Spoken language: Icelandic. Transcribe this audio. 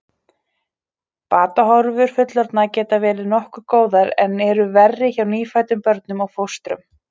Batahorfur fullorðinna geta verið nokkuð góðar en eru verri hjá nýfæddum börnum og fóstrum.